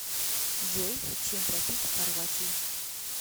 джой чем платить в хорватии